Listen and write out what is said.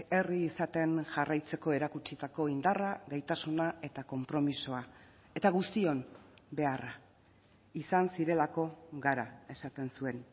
herri izaten jarraitzeko erakutsitako indarra gaitasuna eta konpromisoa eta guztion beharra izan zirelako gara esaten zuen